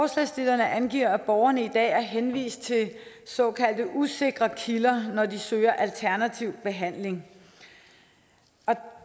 forslagsstillerne angiver at borgerne i dag er henvist til såkaldte usikre kilder når de søger alternativ behandling